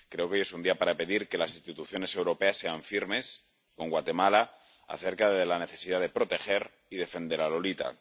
Creo que hoy es un día para pedir que las instituciones europeas sean firmes con Guatemala acerca de la necesidad de proteger y defender a Lolita.